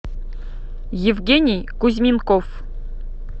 евгений кузьменков